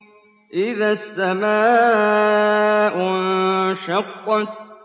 إِذَا السَّمَاءُ انشَقَّتْ